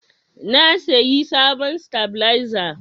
Na sayi sabon satabaleza